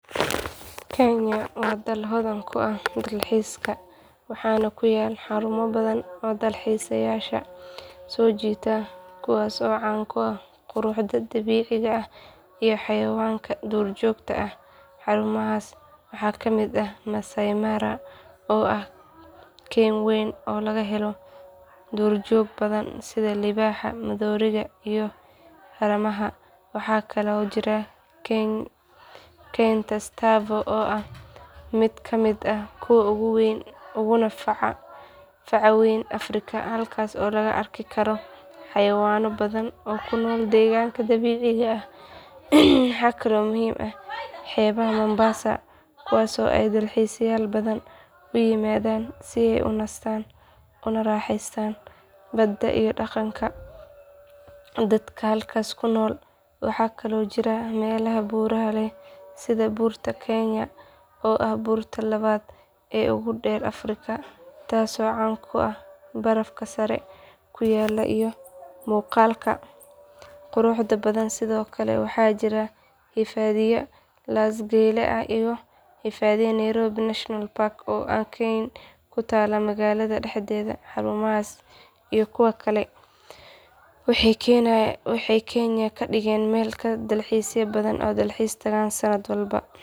Kenya waa dal hodan ku ah dalxiiska waxaana ku yaal xarumo badan oo dalxiisayaasha soo jiita kuwaas oo caan ku ah quruxda dabiiciga ah iyo xayawaanka duurjoogta ah xarumahaas waxaa kamid ah masai mara oo ah keyn weyn oo laga helo duurjoog badan sida libaaxa maroodiga iyo haramaha waxaa kaloo jira keynta tsavo oo ah mid ka mid ah kuwa ugu weyn uguna faca weyn afrika halkaas oo lagu arki karo xayawaanno badan oo ku nool deegaanka dabiiciga ah waxaa kaloo muhiim ah xeebaha mombasa kuwaas oo ay dalxiisayaal badan u yimaadaan si ay u nastaan una raaxaystaan badda iyo dhaqanka dadka halkaas ku nool waxaa kaloo jira meelaha buuraha leh sida buurta kenya oo ah buurta labaad ee ugu dheer afrika taasoo caan ku ah barafka sare ku yaalla iyo muuqaalka quruxda badan sidoo kale waxaa jira hifadhiya laas geele iyo hifadhiya nairobi national park oo ah kayn ku taalla magaalada dhexdeeda xarumahaas iyo kuwa kale waxay kenya ka dhigaan meel ay dalxiisayaal badan u dalxiis tagaan sanad walba.